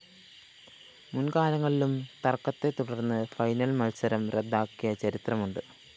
മുന്‍കാലങ്ങളിലും തര്‍ക്കത്തെത്തുടര്‍ന്ന് ഫൈനൽ മത്സരം റദ്ദാക്കിയ ചരിത്രമുണ്ട്